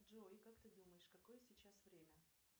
джой как ты думаешь какое сейчас время